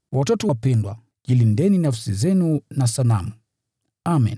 Watoto wapendwa, jilindeni nafsi zenu kutokana na sanamu. Amen.